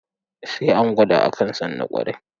Sai an gwada, a kan san na ƙwarai.